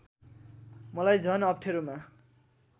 मलाई झन् अप्ठेरोमा